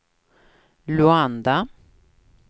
Luanda